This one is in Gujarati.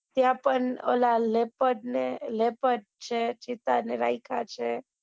ત્યાં પણ ઓલા leopard ને leopard છે ચિત્તા ને રાયકા છે